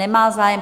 Nemá zájem.